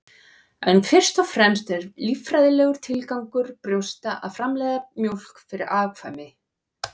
En fyrst og fremst er líffræðilegur tilgangur brjósta að framleiða mjólk fyrir afkvæmi.